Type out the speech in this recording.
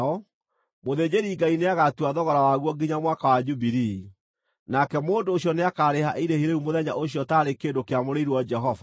mũthĩnjĩri-Ngai nĩagatua thogora waguo nginya Mwaka wa Jubilii, nake mũndũ ũcio nĩakarĩha irĩhi rĩu mũthenya ũcio taarĩ kĩndũ kĩamũrĩirwo Jehova.